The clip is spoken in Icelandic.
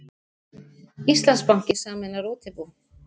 Íslandsbanki sameinar útibú